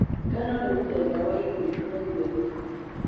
Ngano nĩmũtheba wa irio ikũragio thĩng'ĩma.